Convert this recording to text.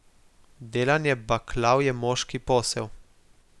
Delanje baklav je moški posel.